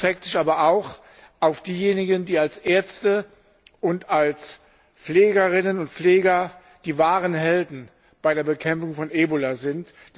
Der Dank erstreckt sich aber auch auf diejenigen, die als Ärzte und als Pflegerinnen und Pfleger die wahren Helden bei der Bekämpfung von Ebola sind.